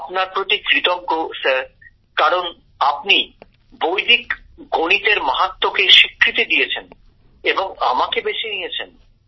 আমি আপনার প্রতি কৃতজ্ঞ স্যার কারণ আপনি বৈদিক গণিতের মাহাত্ম্যকে স্বীকৃতি দিয়েছেন এবং আমাকে বেছে নিয়েছেন